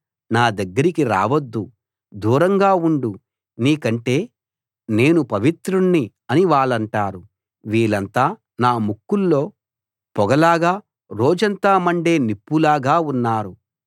మా దగ్గరికి రావద్దు దూరంగా ఉండు నీకంటే నేను పవిత్రుణ్ణి అని వాళ్ళంటారు వీళ్ళంతా నా ముక్కుల్లో పొగలాగా రోజంతా మండే నిప్పులాగా ఉన్నారు